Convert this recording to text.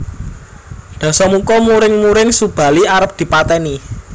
Dasamuka muring muring Subali arep dipateni